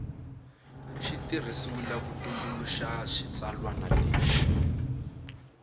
tirhisiwile ku tumbuluxa xitsalwana lexi